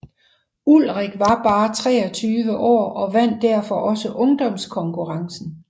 Ullrich var bare 23 år og vandt derfor også ungdomskonkurrencen